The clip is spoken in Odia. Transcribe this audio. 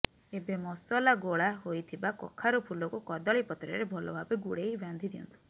ଏବେ ମସଲା ଗୋଳା ହୋଇଥିବା କଖାରୁ ଫୁଲକୁ କଦଳୀ ପତ୍ରରେ ଭଲ ଭାବେ ଗୁଡ଼େଇ ବାନ୍ଧି ଦିଅନ୍ତୁ